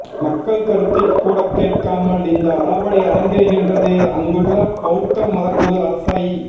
மக்கள் கருத்தைக் கூடக்கேட்காமல் இந்த அடாவடி அரங்கேறுகின்றது அங்குள்ள பௌத்த மதகுரு அரசை